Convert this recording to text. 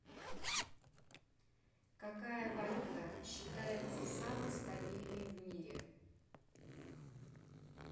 какая валюта считается самой стабильной в мире